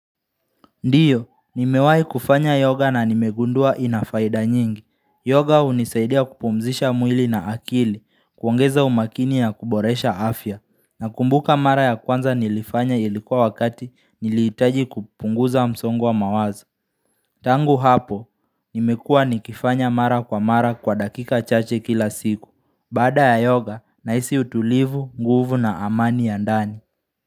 Ndiyo, nimewai kufanya yoga na nimegundua ina faida nyingi. Yoga hunisaidia kupumzisha mwili na akili, kuongeza umakini ya kuboresha afya. Nakumbuka mara ya kwanza nilifanya ilikuwa wakati niliitaji kupunguza msongo wa mawazo. Tangu hapo, nimekua nikifanya mara kwa mara kwa dakika chache kila siku. Baada ya yoga, nahisi utulivu, nguvu na amani ya ndani.